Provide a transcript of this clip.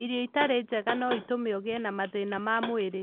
Irio itarĩ njega no itũme ũgĩe na mathĩna ma mwĩrĩ.